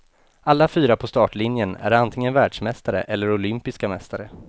Alla fyra på startlinjen är antingen världsmästare eller olympiska mästare.